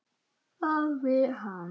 hváði hann.